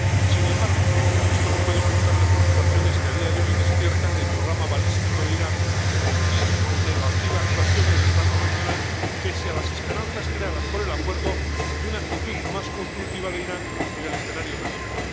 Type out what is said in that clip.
Sin embargo, esto no puede ocultar las preocupaciones que a día de hoy despiertan el programa balístico de Irán y su negativa actuación en el plano regional, pese a las esperanzas creadas por el acuerdo de una actitud más constructiva de Irán en el escenario regional.